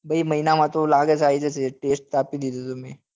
ભાઈ મહિના માં તોલાગે છે આઈ જાશે test આપી દીધો હતો મેં